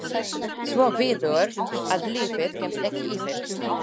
Svo víður að lífið kemst ekki yfir.